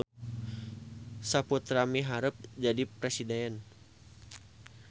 Saputra miharep jadi presiden